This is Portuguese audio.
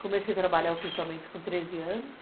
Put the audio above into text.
Comecei a trabalhar oficialmente com treze anos.